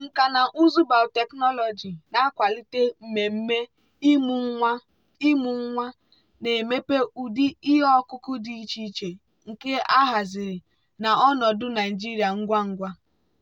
nkà na ụzụ biotechnology na-akwalite mmemme ịmụ nwa ịmụ nwa na-emepe ụdị ihe ọkụkụ dị iche iche nke ahaziri na ọnọdụ naijiria ngwa ngwa.